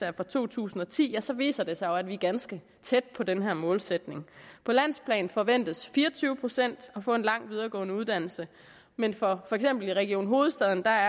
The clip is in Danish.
er fra to tusind og ti så viser det sig jo at vi er ganske tæt på den her målsætning på landsplan forventes fire og tyve procent at få en lang videregående uddannelse men for region hovedstaden er